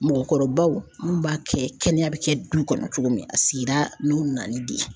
Mɔgɔkɔrɔbaw n'u b'a kɛ kɛnɛya bi kɛ du kɔnɔ cogo min, a sigira n'u nali de ye.